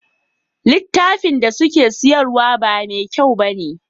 Litafin da suke siyarwa ba me kyau bane